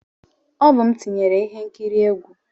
Ọ bụ m tinyere ihe nkiri egwu.